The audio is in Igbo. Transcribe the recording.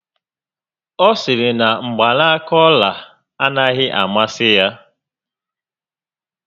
Ọ sịrị na mgbanaka ọla anaghị amasị ya